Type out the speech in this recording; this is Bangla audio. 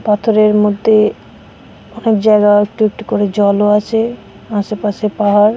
পাথরের মধ্যে অনেক জায়গা একটু একটু করে জলও আছে আশেপাশে পাহাড়।